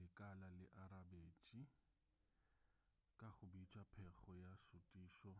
lekala le arabetše ka go bitša pego ya šutišo